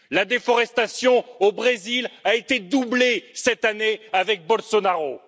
La déforestation au Brésil a été doublée, cette année, avec Bolsonaro.